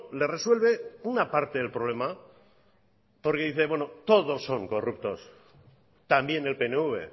le resuelve una parte del problema porque dice todos son corruptos también el pnv